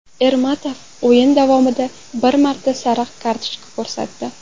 Ermatov o‘yin davomida bir marta sariq kartochka ko‘rsatdi.